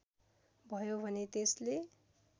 भयो भने त्यसले